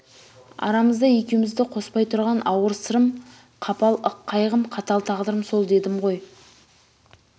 арамызда екеуімізді қоспай тұрған ауыр сырым қапал ық қайғым қатал тағдырым сол дедімгой